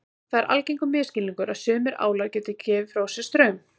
Það er algengur misskilningur að sumir álar geti gefið frá sér straum.